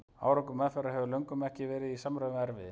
Árangur meðferðar hefur löngum ekki verið í samræmi við erfiði.